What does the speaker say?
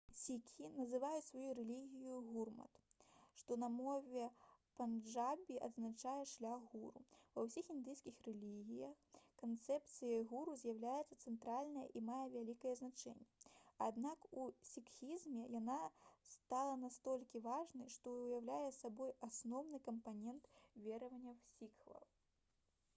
сікхі называюць сваю рэлігію гурмат што на мове панджабі азначае «шлях гуру». ва ўсіх індыйскіх рэлігіях канцэпцыя гуру з'яўляецца цэнтральнай і мае вялікае значэнне аднак у сікхізме яна стала настолькі важнай што ўяўляе сабой асноўны кампанент вераванняў сікхаў